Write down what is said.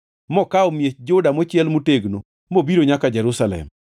mokawo miech Juda mochiel motegno mobiro nyaka Jerusalem.